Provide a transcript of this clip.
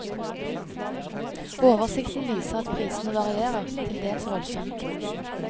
Oversikten viser at prisene varierer, til dels voldsomt.